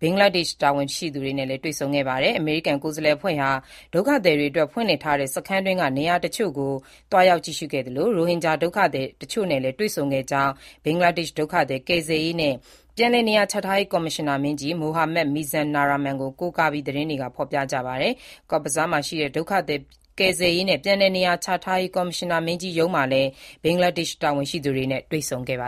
ဘင်္ဂလားဒေ့ရှ် တာဝန်ရှိသူတွေနဲ့လည်း တွေ့ဆုံခဲ့ပါတယ်။ အမေရိကန် ကိုယ်စားလှယ်အဖွဲ့ဟာ ဒုက္ခသည်တွေအတွက် ဖွင့်လှစ်ထားတဲ့ စခန်းတွင်းက နေရာတချို့ကို သွားရောက်ကြည့်ရှုခဲ့သလို၊ ရိုဟင်ဂျာဒုက္ခသည် တချို့နဲ့လည်း တွေ့ဆုံခဲ့ကြောင်း ဘင်္ဂလားဒေ့ရှ် ဒုက္ခသည်ကယ်ဆယ်ရေးနဲ့ ပြန်လည်နေရာချထားရေး ကော်မရှင်နာမင်းကြီး Mohammad Mizanur Rahman (အိုမတ် မီဇာနူရာ ရာမန်) ကို ကိုးကားပြီး သတင်းတွေက ဖော်ပြပါတယ်။ Cox's Bazar မှာရှိတဲ့ ဒုက္ခသည်ကယ်ဆယ်ရေးနဲ့ ပြန်လည်နေရာချထားရေး ကော်မရှင်နာမင်းကြီးရုံးမှာလည်း ဘင်္ဂလားဒေ့ရှ် တာဝန်ရှိသူတွေနဲ့ တွေ့ဆုံခဲ့တာပါ